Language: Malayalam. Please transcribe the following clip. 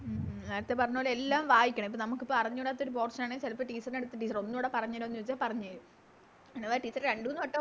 നേരത്തെ പറഞ്ഞപോലെ എല്ലാം വായിക്കണം ഇപ്പൊ നമുക്കിപ്പൊ അറിഞ്ഞൂടാത്തൊരു Portion ആണേ ചെലപ്പോ Teacher ൻറെടൂത്ത് Teacher എ ഒന്നുടെ പറഞ്ഞേരൊന്ന് ചോയിച്ച പറഞ്ഞേരും അഥവാ Teacher രണ്ട് മൂന്ന് വടോം